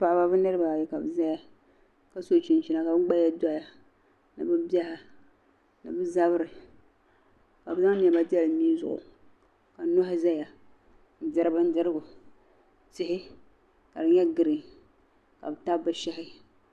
Paɣiba bɛniriba ayi kabɛzaya kaso chinchina. kabi gbaya doya nibibiha mini bɛ zabiri ka bɛ zaŋ nema n deli mii zuɣu ka nohi zaya n-diri bindirigu tihi kadi nye gireen kabitabi bɛshehi